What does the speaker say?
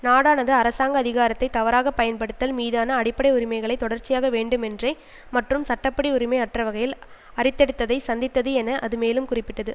நாடானது அரசாங்க அதிகாரத்தை தவறாக பயன்படுத்தல் மீதான அடிப்படை உரிமைகளை தொடர்ச்சியாய் வேண்டுமென்றே மற்றும் சட்ட படி உரிமை அற்றவகையில் அரித்தெடுத்ததை சந்தித்தது என அது மேலும் குறிப்பிட்டது